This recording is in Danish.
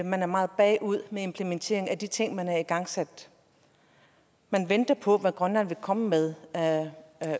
man er meget bagud med implementeringen af de ting man havde igangsat man venter på hvad grønland vil komme med af